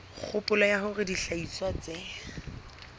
kgopolo ya hore dihlahiswa tse